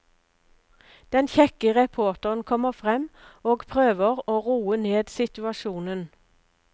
Den kjekke reporteren kommer frem, og prøver å roe ned situsajonen.